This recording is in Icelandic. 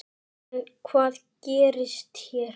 En hvað gerist hér?